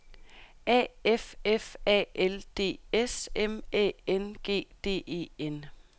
A F F A L D S M Æ N G D E N